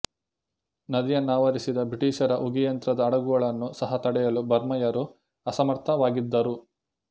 ನದಿಯನ್ನಾವರಿಸಿದ ಬ್ರಿಟೀಷರ ಉಗಿ ಯಂತ್ರದ ಹಡಗುಗಳನ್ನು ಸಹ ತಡೆಯಲು ಬರ್ಮಾಯರು ಅಸಮರ್ಥವಾಗಿದ್ದರು